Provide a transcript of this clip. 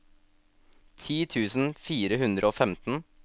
ti tusen fire hundre og femten